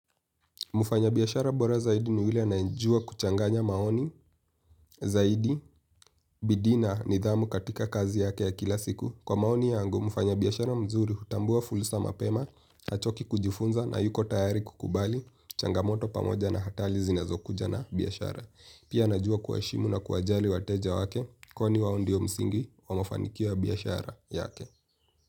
Mfanya biashara bora zaidi ni yule anayejua kuchanganya maoni zaidi bidii na nidhamu katika kazi yake ya kila siku. Kwa maoni yangu, mfanya biashara mzuri hutambua fursa mapema, hachoki kujifunza na yuko tayari kukubali, changamoto pamoja na hatari zinazokuja na biashara. Pia anajua kuwaheshimu na kuwajali wateja wake, kwani wao ndiyo msingi wa mafanikio ya biashara yake.